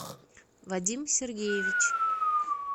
вадим сергеевич